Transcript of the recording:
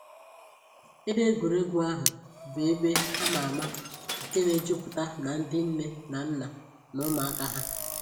Ebe egwuregwu ahụ bụ ebe a ma ama nke na-ejupụta na ndị nne na nna na ụmụaka ha